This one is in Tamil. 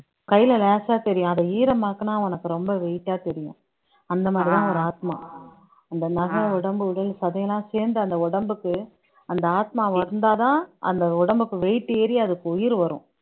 கையில லேசா தெரியும் அதை ஈரமாக்குனா உனக்கு ரொம்ப weight ஆ தெரியும் அந்த மாதிரிதான் ஒரு ஆத்மா அந்த நகம் உடம்பு உடல் சதையெல்லாம் சேர்ந்து அந்த உடம்புக்கு அந்த ஆத்மா வந்தாதான் அந்த உடம்புக்கு weight ஏறி அதுக்கு உயிர் வரும்